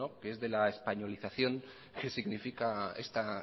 que es de la españolización que significa esta